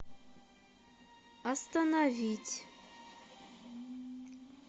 остановить